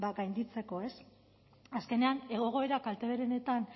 gainditzeko azkenean egoera kalteberenetan